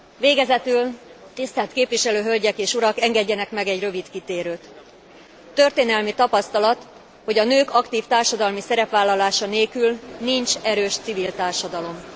Végezetül, tisztelt képviselő hölgyek és urak, engedjenek meg egy rövid kitérőt. Történelmi tapasztalat, hogy a nők aktív társadalmi szerepvállalása nélkül nincs erős civil társadalom.